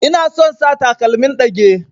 Ina son sa takalmin ɗage.